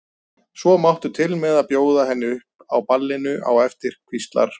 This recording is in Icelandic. Svo máttu til með að bjóða henni upp á ballinu á eftir, hvíslar